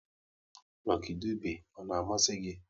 Egwu Lucky Dube ọ na-amasị gị?